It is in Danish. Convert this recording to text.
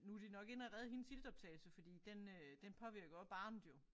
Nu de nok inde og redde hendes iltoptagelse fordi den øh den påvirker også barnet jo